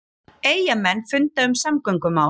Eyjamenn funda um samgöngumál